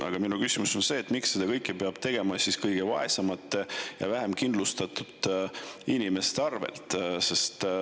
Aga minu küsimus on see, miks seda kõike peab tegema kõige vaesemate ja vähem kindlustatud inimeste arvel.